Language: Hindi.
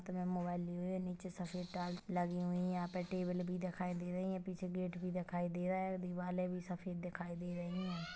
नीचे सफेद टाइल्स लगी हुई है यहाँ पे टेबल भी दिखाई दे रही है पिछे गेट भी दिखाई दे रहा है और दीवाले भी सफेद दिखाई दे रही है।